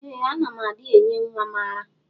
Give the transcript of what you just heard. Ee ana m adi enye nwam ara.